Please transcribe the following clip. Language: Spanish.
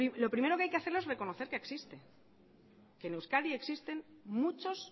lo primero que hay que hacer es reconocer que existe que en euskadi existen muchos